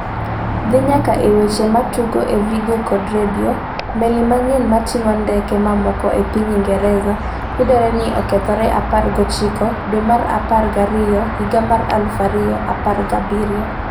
dhi nyaka e weche matugo e vidio kod redio; meli manyien matingo ndeke mamoko ma piny Ingresa yudore ni okethre 19 dwe mar apar gi ariyo higa mar 2017